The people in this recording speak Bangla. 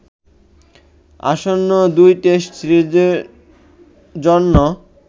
আসন্ন ২ টেস্ট সিরিজের জন্য